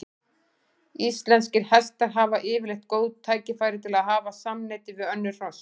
Íslenskir hestar hafa yfirleitt góð tækifæri til að hafa samneyti við önnur hross.